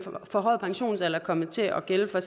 forhøjede pensionsalder er kommet til at gælde for